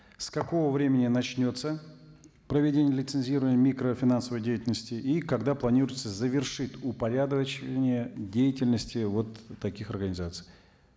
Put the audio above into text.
с какого времени начнется проведение лицензирования микрофинансовой деятельности и когда планируется завершить упорядочивание деятельности вот таких организаций